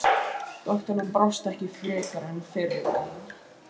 Doktorinn brást ekki frekar en fyrri daginn.